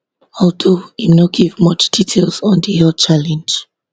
although im no give much details on di health challenge